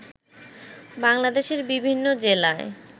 বাংলাদেশের বিভিন্ন জেলায়